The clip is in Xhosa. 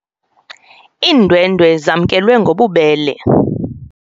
Iindwendwe zamkelwe ngobubele.